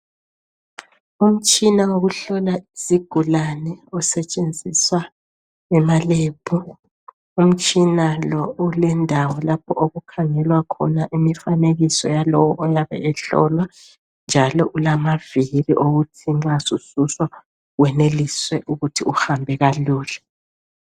Umtshina wokuhlola izigulane osetshenziswa ema"Lab". Umtshina lo ulendawo lapho okukhangelwa khona imifanekiso yalowo oyabe ehlolwa njalo ulamavili ukuthi nxa usudonswa uhambe kalula.